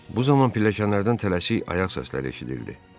Bu zaman pilləkanlardan tələsik ayaq səsləri eşidildi.